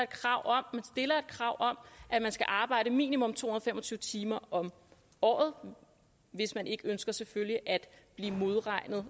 krav om at man skal arbejde minimum to hundrede og fem og tyve timer om året hvis man ikke ønsker selvfølgelig at blive modregnet